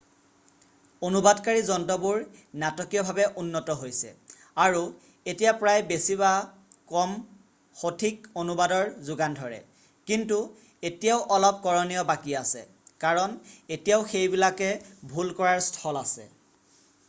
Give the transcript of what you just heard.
অনুবাদকাৰী যন্ত্ৰবোৰ নাটকীয়ভাৱে উন্নত হৈছে আৰু এতিয়া প্ৰায় বেছি বা কম সঠিক অনুবাদৰ যোগান ধৰে আৰু কেতিয়াবা অস্পষ্ট বাক্য কিন্তু এতিয়াও অলপ কৰণীয় বাকী আছে কাৰণ এতিয়াও সেইবিলাকে ভুল কৰাৰ স্থল আছে।